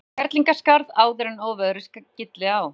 Kerlingarskarð áður en óveðrið skylli á.